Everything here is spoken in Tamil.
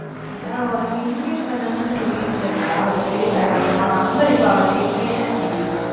அதா உனக்கு invite பண்ணனும்னு சொல்லிட்டு இருந்தா அவளுக்கு டக்கு உன் number இப்ப அவகிட்ட இல்லையாம் டி